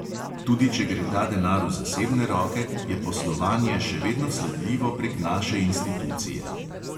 Tudi če gre ta denar v zasebne roke, je poslovanje še vedno sledljivo prek naše institucije.